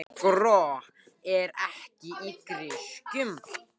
Skro er ekki í grisjum.